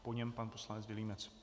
Po něm pan poslanec Vilímec.